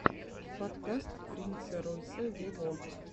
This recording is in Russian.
подкаст принца ройса вево